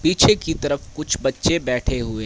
पीछे की तरफ कुछ बच्चे बैठे हुए--